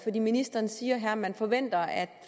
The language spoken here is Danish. ministeren siger her at man forventer at